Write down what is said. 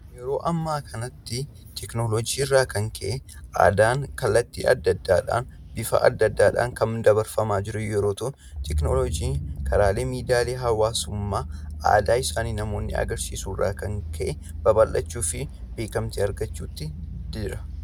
Yeroo ammaa kana sababa tekinoloojiitiin aadaan karaa adda addaa kan dabarfamaa jiru yoo ta'u. Kanaaf biyyoonnigaragaraa teckinoloogii fayyadamuun aadaa isaanii dabarfachaa kan jiranidha.